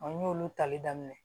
n y'olu tali daminɛ